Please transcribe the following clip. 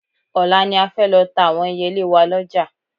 Ọ̀la ni a fẹ́ lọ ta àwọn ẹyẹlé wa lọ́jà